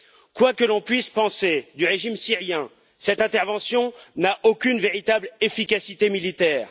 Quoi que l'on puisse penser du régime syrien, cette intervention n'a aucune véritable efficacité militaire.